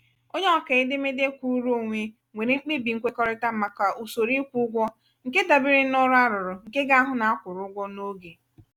onye ọkaa edemede kwụụrụ onwe nwere mkpebi nkwekọrịta màkà usoro ịkwụ ụgwọ nke dabeere n'ọrụ arụrụ nke ga-ahụ na a kwụrụ ụgwọ n'oge.